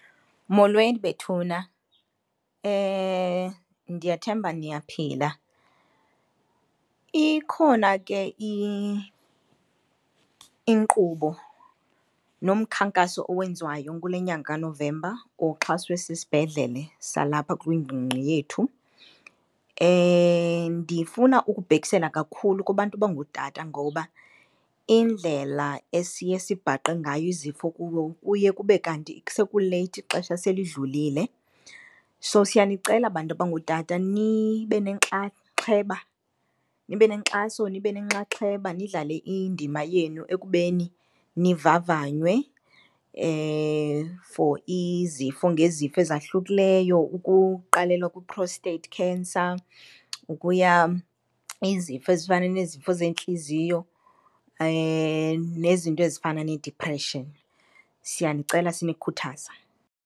Molweni bethuna, ndiyathemba niyaphila. Ikhona ke inkqubo nomkhankaso owenziwayo kule nyanga kaNovemba oxhaswe sisibhedlele salapha kwingingqi yethu. Ndifuna ukubhekisela kakhulu kubantu abangotata ngoba indlela esiye sibhaqe ngayo izifo kubo kuye kube kanti sekuleythi, ixesha selidlulile. So siyanicela bantu abangootata nibe nenxaxheba, nibe nenkxaso, nibe nenxaxheba, nidlale indima yenu ekubeni nivavanywe for izifo ngezifo ezakuhlileyo, ukuqalela kwi-prostate cancer ukuya izifo ezifana nezifo zeentliziyo nezinto ezifana needipreshini. Siyanicela sinikhuthaza.